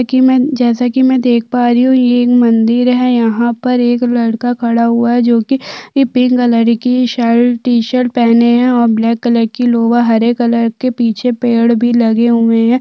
जैसे की जैसे की में देख पा रही हूं ये एक मंदिर है यहाँ पर एक लड़का खड़ा हुआ है जो कि पिंक कलर की शर्ट टीशर्ट पहने है और ब्लैक कलर की लोवर हरे कलर के पीछे पेड़ भी लगे हुए है।